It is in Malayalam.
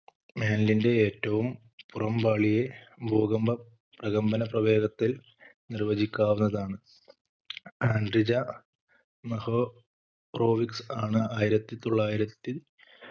mantle ന്റെ ഏറ്റവും പുറം പാളിയെ ഭൂകമ്പ പ്രകമ്പന പ്രവേഗത്തിൽ നിർവചിക്കാവുന്നതാണ് ആൻഡ്രിജ മഹോ റോവിക്സ് ആണ് ആയിരത്തി തൊള്ളായിരത്തി